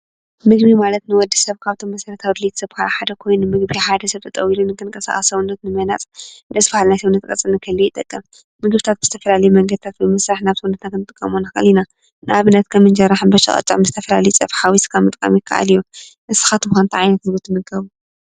ምግቢ ማለት ንወዲ ሰብ ካብቶም መሰረታዊ ድልየት ዝባሃሉ ሓደ ኮይኑ ሰብ ጠጠው ኢሉ ንምንቅስቃስ ሰውነት ንምህናፅ ነብስካ ናይ ሰውነት ቅርፂ ንክህልዎ ይጠቅም፡፡ ምግብታት ብዝተፈላለዩ መንገድታት ብምስራሕ ናብ ሰውነትና ክንጥቀመሉ ንክእል ኢና፡፡ ንኣብነት ከም እንጀራ፣ ሕባሻ፣ ቅጫ ምስ ዝተፈላለዩ ፀብሒ ሓዊስካ ምጥቃም ይካኣል እዩ፡፡ ንስካትኩም ከ እንታይ ዓይነት ምግቢ ትምገቡ።